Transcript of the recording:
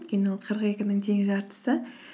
өйткені ол қырық екінің тең жартысы